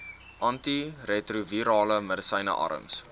antiretrovirale medisyne arms